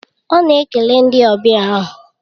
Ọ na-ekele ndị ọbịa ahụ